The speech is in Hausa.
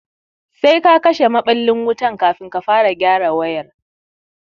Sai ka kashe maɓallin wutan kafin ka fara gyara wayar